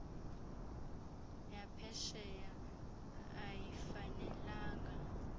ya phesheya ayifanelanga